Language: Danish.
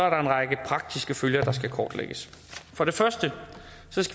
en række praktiske følger der skal kortlægges for det første